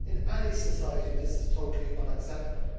In any society this is totally unacceptable.